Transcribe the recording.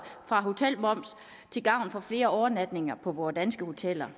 for hotelmoms til gavn for flere overnatninger på på danske hoteller